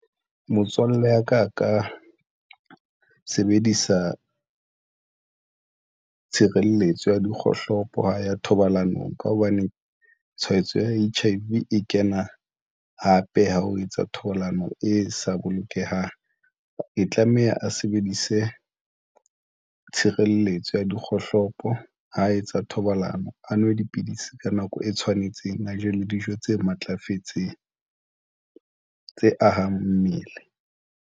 Motswalle wa ka a ka sebedisa tshireletso ya dikgohlopo ha ya thobalanong ka hobane tshwaetso ya H_I_V e kena hape. Ha o etsa thobalano e sa bolokehang, e tlameha a sebedise tshireletso ya dikgohlopo ha etsa thobalano, a nwe dipidisi ka nako e tshwanetseng, a je le dijo tse matlafetseng tse ahang mmele.